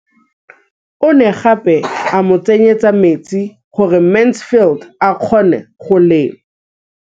O ne gape a mo tsenyetsa metsi gore Mansfield a kgone go lema.